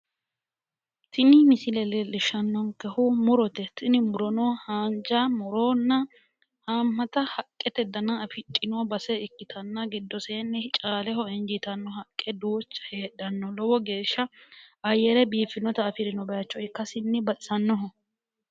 Tini misile leellishshannonkehu murote. Tini murono haanja murunna haammata haqqete dana afidhino base ikkitanna giddoseenni caaleho injiitanno haqqe duucha heedhanno. Lowo geeshsha ayyere biiffinota afirinno bayicho ikkasinni baxisannoho.